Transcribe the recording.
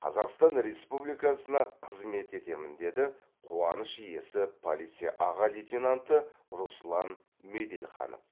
қазақстан республикасына қызмет етемін деді қуаныш иесі полиция аға лейтенанты руслан меделханов